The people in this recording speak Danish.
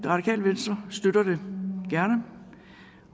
radikale venstre støtter det gerne